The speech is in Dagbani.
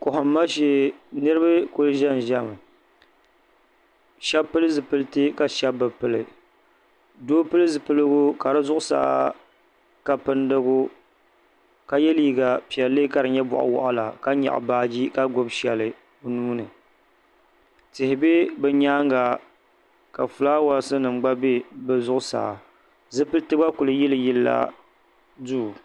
Kohima shee niriba kuli ʒɛn ʒɛmi. shebi pil zipilti ka shebi be pili. Doo pili zipiligu ka di zuɣu saa ka pindigu ka ye liiga piɛlli ka di nye boɣ'waɣila ka nyaɣi baaji ka gbubi sheli o nuuni. Tihi be bɛ nyaaŋa ka flaawaasinim gba be bɛ zuɣu saa. Zipilti gba kuli yili yilla duu